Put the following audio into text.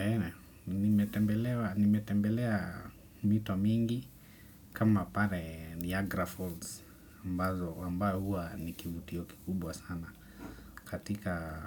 Eeh, nimetembelea mito mingi kama pare Niagara Falls ambao, huwa ni kivutio kikubwa sana katika